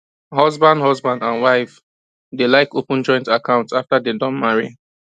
husband husband and wife dey like open joint account after dem don marry